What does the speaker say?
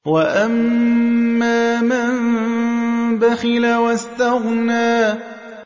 وَأَمَّا مَن بَخِلَ وَاسْتَغْنَىٰ